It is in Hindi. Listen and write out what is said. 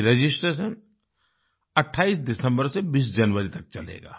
ये रजिस्ट्रेशन 28 दिसंबर से 20 जनवरी तक चलेगा